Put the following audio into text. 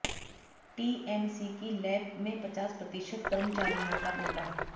TMC की lab में पचास प्रतिशत कर्मचारियों का टोटा